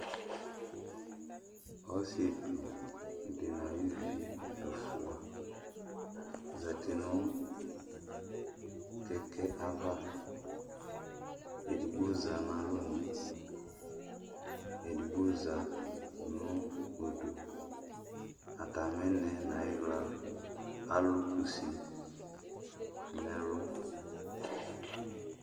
Ɔsietsu dunu ayuvi ɛfua zati nu kɛkɛ ava Edigbo za nu alɔnu, edigbo za nudu Ataminɛɛ nayiwla alu kusi nɛlu